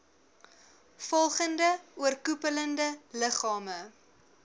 volgende oorkoepelende liggame